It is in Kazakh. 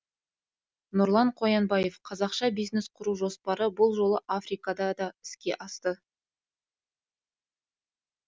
нұрлан қоянбаев қазақша бизнес құру жоспары бұл жолы африкада да іске асты